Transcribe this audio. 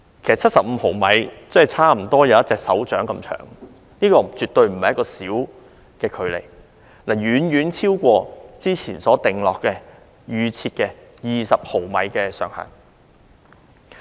其實75毫米差不多有手掌那麼長，這絕非一個很短的距離，而是遠遠超出之前所預先設定的20毫米上限。